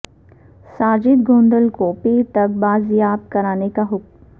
ساجد گوندل کو پیر تک بازیاب کرانے کا حکم